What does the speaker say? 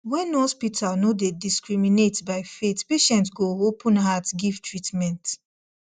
when hospital no dey discriminate by faith patient go open heart give treatment